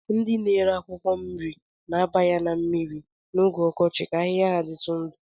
Ndị na-ere akwụkwọ nri na-aba ya na mmiri n'oge ọkọchị ka ahịhịa ya dịtụ ndụ